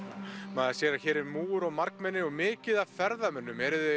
maður sér að hér er múgur og margmenni og mikið af ferðamönnum er